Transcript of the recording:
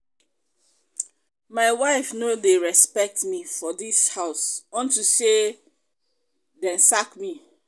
my wife no dey respect me for dis house unto say dey sack me